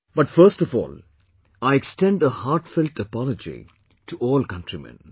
But first of all, I extend a heartfelt apology to all countrymen